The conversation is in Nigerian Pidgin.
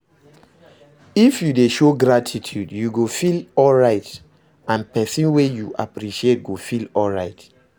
If you de show gratitude you go feel alright and persin wey you appreciate go feel alright